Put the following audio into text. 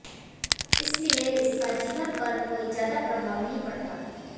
इसलिए इसका जीवन पर कोई ज्यादा प्रभाव नही पड़ता